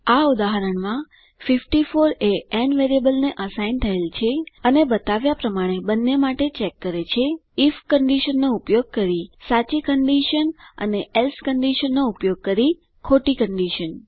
આ ઉદાહરણમાં 54 એ ન વેરિયેબલને અસાઇન થયેલ છે અને બતાવ્યા પ્રમાણે બંને માટે ચેક કરે છે આઇએફ કન્ડીશનનો ઉપયોગ કરી સાચી કન્ડીશન અને એલ્સે કન્ડીશનનો ઉપયોગ કરી ખોટી કન્ડીશન